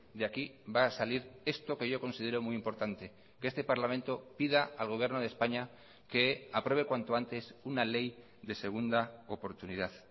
de aquí va a salir esto que yo considero muy importante que este parlamento pida al gobierno de españa que apruebe cuanto antes una ley de segunda oportunidad